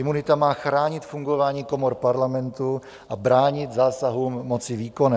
Imunita má chránit fungování komor parlamentu a bránit zásahům moci výkonné.